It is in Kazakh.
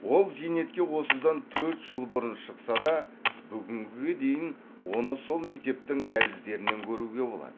ол зейнетке осыдан төрт жыл бұрын шықса да бүгінге дейін оны сол мектептің дәліздерінен көруге болады